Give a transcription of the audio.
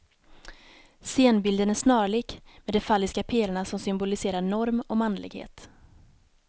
Scenbilden är snarlik, med de falliska pelarna som symboliserar norm och manlighet.